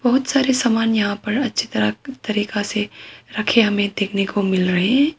बहुत सारे सामान यहां पर अच्छी तरह तरीका से रखें हमें देखने को मिल रहे हैं।